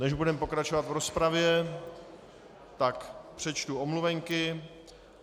Než budeme pokračovat v rozpravě, tak přečtu omluvenky.